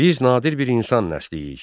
Biz nadir bir insan nəslik.